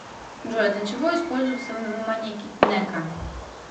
джой для чего используется манеки неко